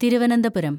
Thiruvananthapuram